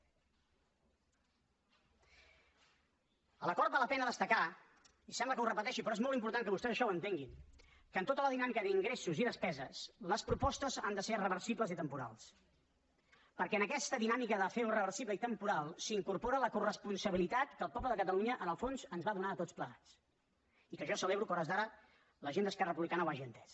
de l’acord val la pena destacar i sembla que ho repeteixi però és molt important que vostès això ho entenguin que en tota la dinàmica d’ingressos i despeses les propostes han de ser reversibles i temporals perquè en aquesta dinàmica de fer ho reversible i temporal s’incorpora la coresponsabilitat que el poble de catalunya en el fons ens va donar a tots plegats i que jo celebro que a hores d’ara la gent d’esquerra republicana ho hagi entès